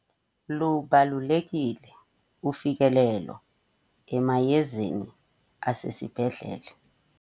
Lubalulekile ufikelelo emayezeni asesibhedlele.